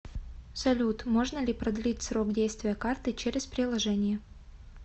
салют можно ли продлить срок действия карты через приложение